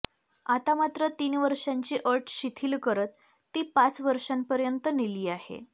आता मात्र तीन वर्षांची अट शिथिल करत ती पाच वर्षांपर्यंत नेली आहे